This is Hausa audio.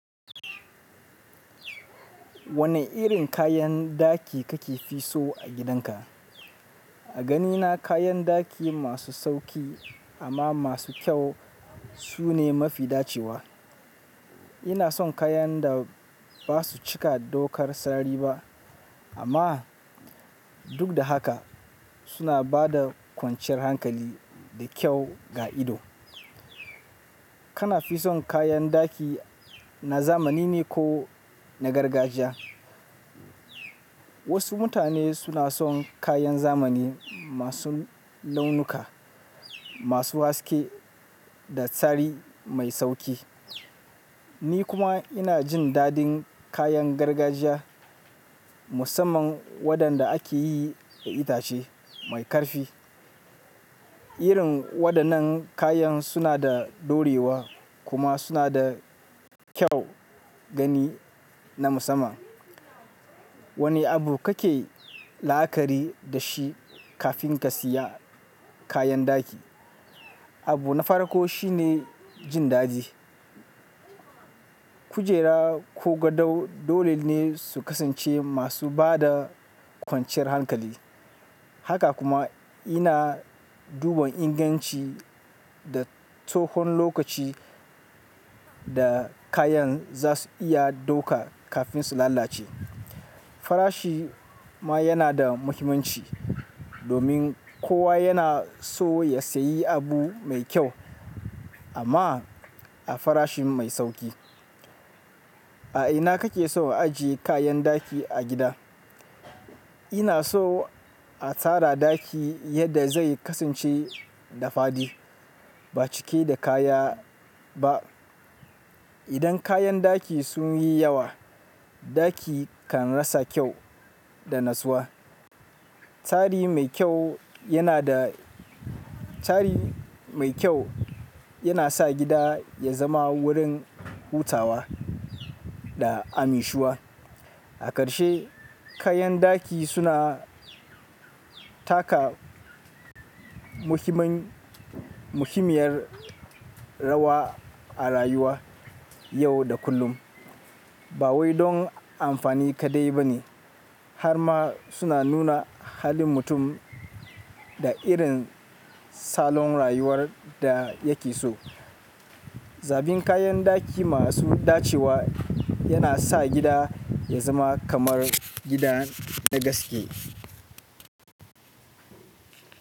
Wane irin kayan ɗaki kake fi so a gidanka? A ganina kayan daki masu sauƙi amma masu kyau su ne mafi dacewa. Ina son kayan da ba su cika dokar sarari ba amma duk da haka suna ba da kwanciyar hankali da kyau ga ido. Kana fi son kayan daki na zamani ne ko na gargajiya? Wasu mutane suna son kayan zamani masu launuka, masu haske da tsari mai sauƙi. Ni kuma ina jin dadin kayan gargajiya musamman waɗanda ake yi da itace mai ƙarfi. Irin waɗannan kayan suna da ɗorewa kuma suna da kyau gani na musamman. Wane abu kake la'akari da shi kafin ka siya kayan ɗaki? Abu na farko shine jin daɗi. Kujera ko gadon dole ne su kasance masu ba da kwanciyar hankali. Haka kuma ina duba inganci da tsahon lokaci da kayan za su iya ɗauka kafin su lalace. Farashi ma yana da muhimmanci domin kowa yana so ya sayi abu mai kyau amma a farashi mai sauƙi. A ina kake so a aje kayan ɗaki a gida? Ina so a tsara daki yadda zai kasance da fadi, ba cike da kaya ba. Idan kayan daki sun yi yawa, daki kan rasa kyau da natsuwa. Tsari mai kyau yana da, tsari mai kyau yana sa gida ya zama wurin hutawa da annashuwa. A ƙarshe, kayan ɗaki suna taka muhimman, muhimmiyar rawa a rayuwa yau da kullum. Ba wai don amfani kaɗai ba ne har ma suna nuna halin mutum da irin salon rayuwar da yake so. Zaɓin kayan daki masu dacewa yana sa gida ya zama kamar gidan na gaske.